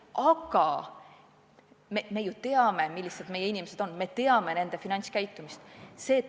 Aga me ju teame, millised meie inimesed on, me teame nende finantskäitumist.